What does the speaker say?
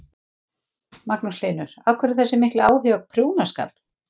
Magnús Hlynur: Af hverju þessi mikli áhugi á prjónaskap?